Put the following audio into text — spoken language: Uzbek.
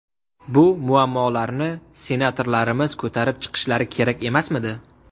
Bu muammolarni senatorlarimiz ko‘tarib chiqishlari kerak emasmidi?